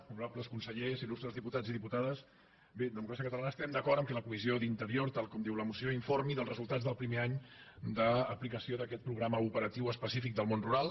honorables consellers il·cia catalana estem d’acord que la comissió d’interior tal com diu la moció informi dels resultats del primer any d’aplicació d’aquest programa operatiu específic del món rural